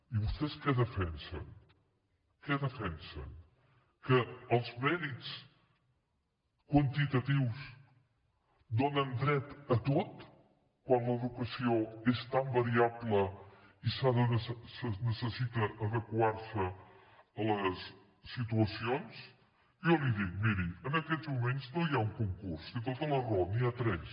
i vostès què defensen què defensen que els mèrits quantitatius donen dret a tot quan l’educació és tan variable i necessita adequar se a les situacions jo li dic miri en aquests moments no hi ha un concurs té tota la raó n’hi ha tres